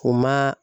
O ma